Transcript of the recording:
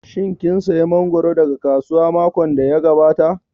Shin kin saya mangoro daga kasuwa makon da ya gabata?